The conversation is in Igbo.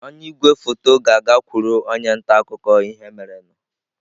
Onye igwefoto ga-agakwuru onye nta akụkọ ihe merenụ